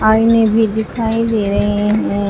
आईने भी दिखाई दे रहे हैं।